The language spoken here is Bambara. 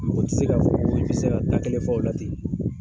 Mɔgɔ tɛ se ka fɔ ki bɛ se ka da kɛlɛ fɔ o la ten